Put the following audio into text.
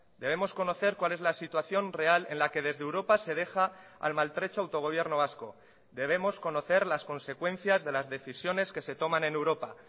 debemos conocer cuál es la situación real en la que desde europa se deja al maltrecho autogobierno vasco debemos conocer las consecuencias de las decisiones que se toman en europa